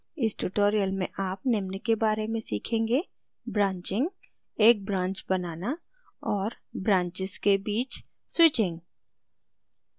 इस tutorial में आप निम्न के बारे में सीखेंगे: